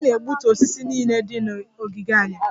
Anyị na-egbutu osisi niile dị na ogige anyị